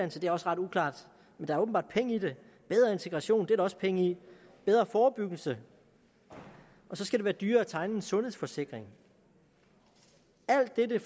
det er også ret uklart men der er åbenbart penge i det bedre integration det er der også penge i bedre forebyggelse og så skal være dyrere at tegne en sundhedsforsikring alt dette